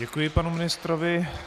Děkuji panu ministrovi.